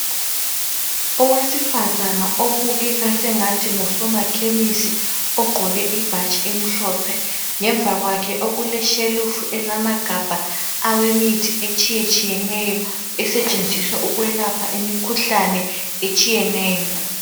Owesifazana obukeka sengathi ngusomakhemisi. Ogqoke ibhatshi emhlophe. Ngemva kwakhe okuleshelufu elamagabha awemithi etshiyetshiyeneyo. Esetshenziswa ukwelapha imikhuhlane etshiyeneyo.